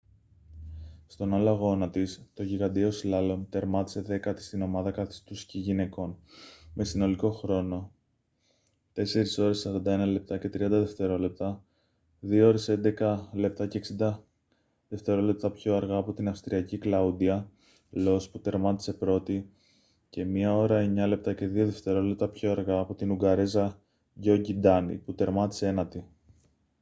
στον άλλο αγώνα της το γιγαντιαίο σλάλομ τερμάτισε δέκατη στην ομάδα καθιστού σκι γυναικών με συνολικό χρόνο 4:41.30 2:11.60 λεπτά πιο αργά από την αυστριακή κλαούντια λος που τερμάτισε πρώτη και 1:09.02 λεπτά πιο αργά από την ουγγαρέζα γκιόνγκι ντάνι που τερμάτισε ένατη